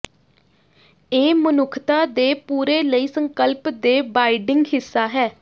ਇਹ ਮਨੁੱਖਤਾ ਦੇ ਪੂਰੇ ਲਈ ਸੰਕਲਪ ਦੇ ਬਾਈਡਿੰਗ ਹਿੱਸਾ ਹੈ